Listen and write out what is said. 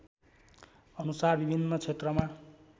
अनुसार विभिन्न क्षेत्रमा